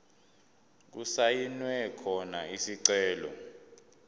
okusayinwe khona isicelo